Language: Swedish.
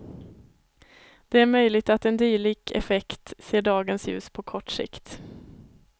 Det är möjligt att en dylik effekt ser dagens ljus på kort sikt.